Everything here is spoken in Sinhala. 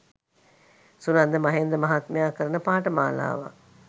සුනන්ද මහේන්ද්‍ර මහත්මයා කරන පාඨමාලාවක්